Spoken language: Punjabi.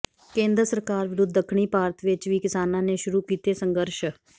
ਕੇਂਦਰ ਸਰਕਾਰ ਵਿਰੁਧ ਦੱਖਣੀ ਭਾਰਤ ਵਿਚ ਵੀ ਕਿਸਾਨਾਂ ਨੇ ਸ਼ੁਰੂ ਕੀਤੇ ਸੰਘਰਸ਼